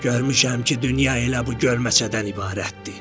Görmüşəm ki, dünya elə bu gölməçədən ibarətdir.